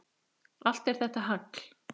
Allt er þetta hagl.